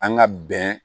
An ka bɛn